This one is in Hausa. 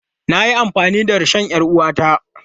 Na yi amfani da rishon 'yar uwata.